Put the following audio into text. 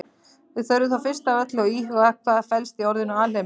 Við þurfum þó fyrst af öllu að íhuga hvað felst í orðinu alheimur.